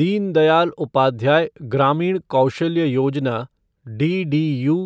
Deen Dayal Upadhyaya Grameen Kaushalya Yojana DDU